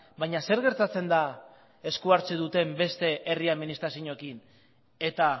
baina zer gertatzen da esku hartzen duten beste herri administrazioekin eta